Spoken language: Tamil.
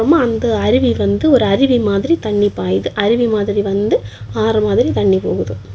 அந்த அருவி வந்து ஒரு அருவி மாதிரி தண்ணி பாயுது அருவி மாதிரி வந்து ஆறு மாதிரி தண்ணி போகுது.